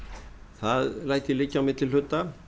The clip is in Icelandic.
það læt ég liggja á milli hluta